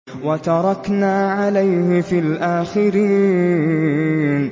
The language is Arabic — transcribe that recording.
وَتَرَكْنَا عَلَيْهِ فِي الْآخِرِينَ